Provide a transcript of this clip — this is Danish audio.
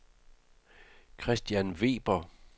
Christian Weber